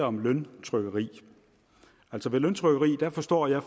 om løntrykkeri altså ved løntrykkeri forstår jeg